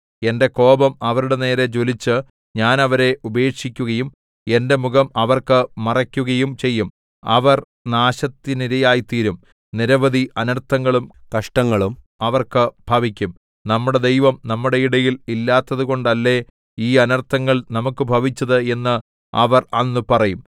എന്റെ കോപം അവരുടെ നേരെ ജ്വലിച്ച് ഞാൻ അവരെ ഉപേക്ഷിക്കുകയും എന്റെ മുഖം അവർക്ക് മറയ്ക്കുകയും ചെയ്യും അവർ നാശത്തിനിരയായിത്തീരും നിരവധി അനർത്ഥങ്ങളും കഷ്ടങ്ങളും അവർക്ക് ഭവിക്കും നമ്മുടെ ദൈവം നമ്മുടെ ഇടയിൽ ഇല്ലാത്തതുകൊണ്ടല്ലേ ഈ അനർത്ഥങ്ങൾ നമുക്കു ഭവിച്ചത് എന്ന് അവർ അന്ന് പറയും